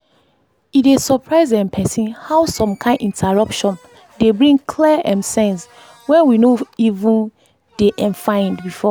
e dey surprise um person how some kind interruption dey bring clear um sense wey we no even dey um find before.